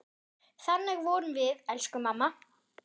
Þannig vorum við, elsku mamma.